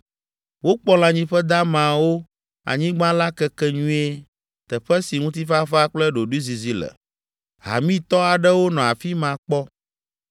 Wokpɔ lãnyiƒe damawo, anyigba la keke nyuie, teƒe si ŋutifafa kple ɖoɖoezizi le. Hamitɔ aɖewo nɔ afi ma kpɔ.